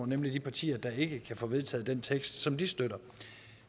nemlig de partier der ikke kan få vedtaget den tekst som de støtter